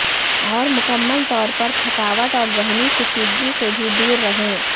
اور مکمل طور پر تھکاوٹ اور ذہنی کشیدگی سے بھی دور رہیں